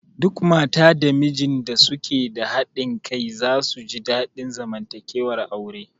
Duk mata da mijin da suke da haɗin kai za su ji daɗin zamantakewar aure